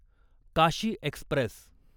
Kashi Express